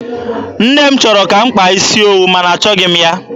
Nne m chọrọ ka m kpaa isi eri, ma na achọghị m ya.